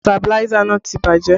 Sabiláísà náà ti bàjẹ́